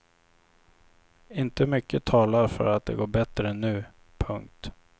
Inte mycket talar för att det går bättre nu. punkt